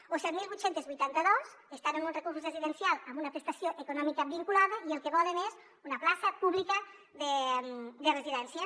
o set mil vuit cents i vuitanta dos estan en un recurs residencial amb una prestació econòmica vinculada i el que volen és una plaça pública de residència